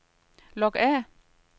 log af